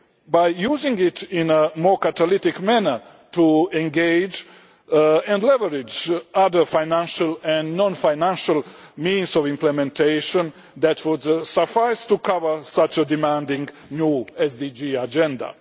ODA by using it in a more catalytic manner to engage and leverage other financial and non financial means of implementation that would suffice to cover such a demanding new SDG agenda.